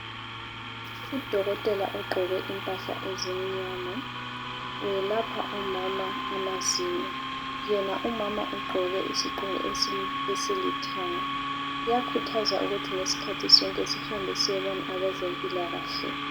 Udokotela ugqoke impahla ezimnyama. Welapha umama amazinyo. Yena umama ugqoke isigqoko esilithanga Kuyakhuthazwa ukuthi ngezikhathi zonke sihambe siyebona abezempilakahle